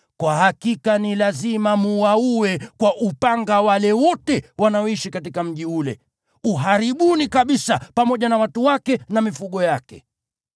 kwa hakika ni lazima mwaue kwa upanga wale wote wanaoishi katika mji ule. Uharibuni kabisa, pamoja na watu wake na mifugo yake.